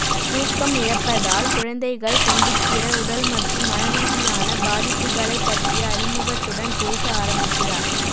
தூக்கம் இழப்பதால் குழந்தைகள் சந்திக்கிற உடல்மற்றும் மன ரீதியான பாதிப்புகளைப் பற்றிய அறிமுகத்துடன் பேச ஆரம்பிக்கிறார்